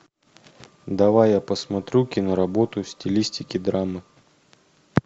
давай я посмотрю киноработу в стилистике драмы